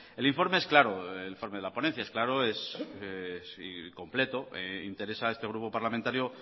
el informe de la ponencia es claro es completo interesa a este grupo parlamentario